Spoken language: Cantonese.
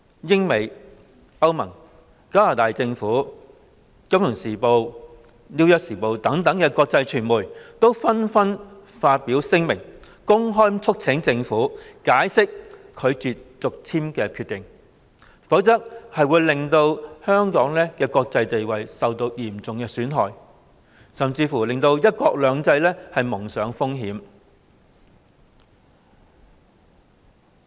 英國、美國、歐盟及加拿大政府，以及《金融時報》、《紐約時報》等國際傳媒，紛紛發表聲明，公開促請政府解釋拒絕續簽工作證的決定，否則會令香港的國際地位嚴重受損，甚至令"一國兩制"蒙上風險。